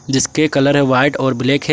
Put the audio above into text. जिसके कलर है व्हाइट और ब्लैक है।